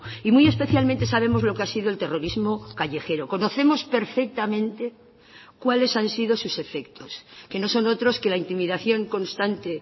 y muy especialmente sabemos lo que ha sido el terrorismo callejero conocemos perfectamente cuáles han sido sus efectos que no son otros que la intimidación constante